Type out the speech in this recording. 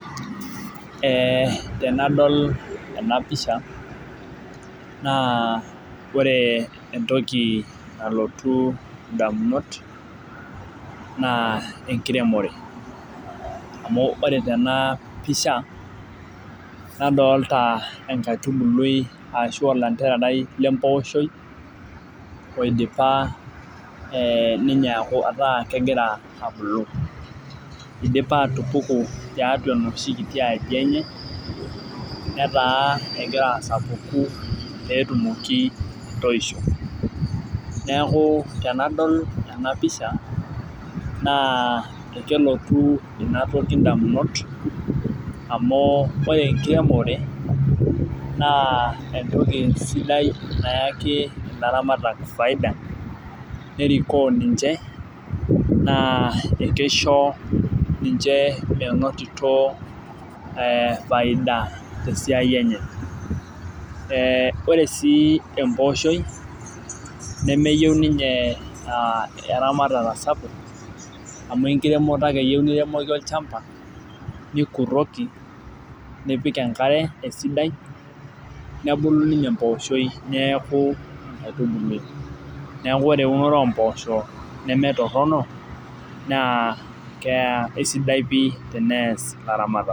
Ee tenadol ena pisha naa ore entoki nalotu damunot naa enkiremore. amu ore tena pisha nadolita enkaitubuli ashu olantererai le mpooshoi oidipa ninye aaku ataa kegira abulu. idipa atupuku tiatua enoshi kiti aji enye metaa egira asapuku pee etumoki atoisho. neeku tenadol ena pisha naa kelotu Ina toki damunot amu ore enkiremore naa entoki sidai nayaki ilaramatak faida, nerikoo ninche naa ekeisho, ninche menotito faida te siai enye. ore sii empooi nemeyieu ninye aa eramatata sapuk. amu enkiremoto ake eyiieu niremoki olchampa. nikuroki, nipik enkare esidai. nebulu ninye empooshoi neeku enkaitubului. neeku ore eunore oo mpoosho neme Torono. nss kesidai pii teneas ilaramatak.